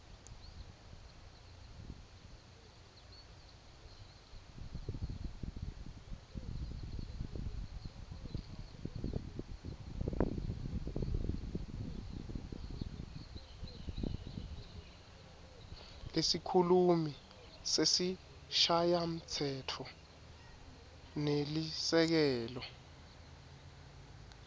lesikhulumi sesishayamtsetfo nelisekela